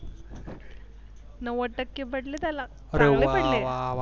नव्वद टक्के पडले त्याला अरे वा वा वा!